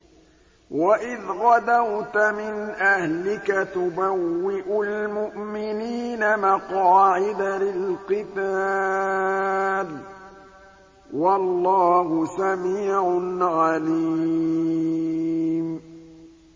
وَإِذْ غَدَوْتَ مِنْ أَهْلِكَ تُبَوِّئُ الْمُؤْمِنِينَ مَقَاعِدَ لِلْقِتَالِ ۗ وَاللَّهُ سَمِيعٌ عَلِيمٌ